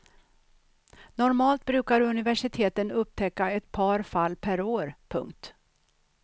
Normalt brukar universiteten upptäcka ett par fall per år. punkt